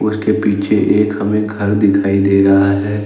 इसके पीछे एक हमें घर दिखाई दे रहा है।